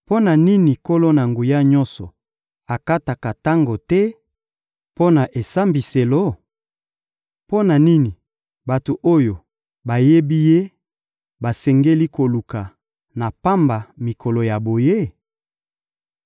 Mpo na nini Nkolo-Na-Nguya-Nyonso akataka tango te mpo na esambiselo? Mpo na nini bato oyo bayebi Ye basengeli koluka na pamba mikolo ya boye?